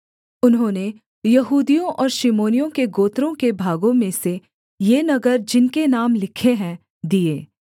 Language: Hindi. उन्होंने यहूदियों और शिमोनियों के गोत्रों के भागों में से ये नगर जिनके नाम लिखे हैं दिए